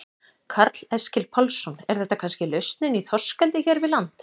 Karl Eskil Pálsson: Er þetta kannski lausnin í þorskeldi hér við land?